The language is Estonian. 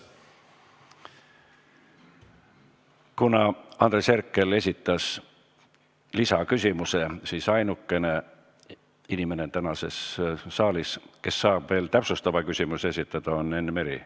Kuna Andres Herkel esitas lisaküsimuse, siis ainuke inimene saalis, kes saab veel täpsustava küsimuse esitada, on Enn Meri.